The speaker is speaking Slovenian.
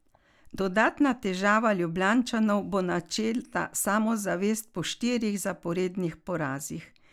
Dodatna težava Ljubljančanov bo načeta samozavest po štirih zaporednih porazih.